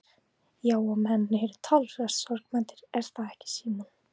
Ásgeir: Já og menn eru talsvert sorgmæddir er það ekki Símon?